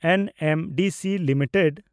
NMDC limited